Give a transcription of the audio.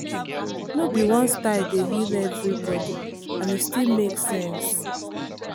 no be one style dey heal everybody and e still make sense.